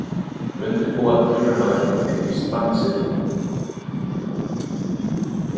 Undirbúa tilraunaverkefni í strandsiglingum